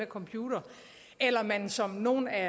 computer eller om man som nogle af